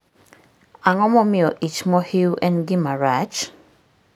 Ang'o momiyo ich mohiu en gima rach?